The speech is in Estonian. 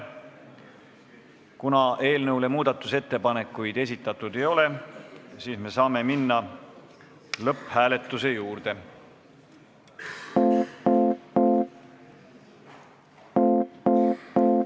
Kuna eelnõu kohta muudatusettepanekuid esitatud ei ole, siis me saame minna lõpphääletuse juurde.